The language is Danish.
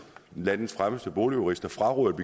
landets fremmeste boligjurister frarådede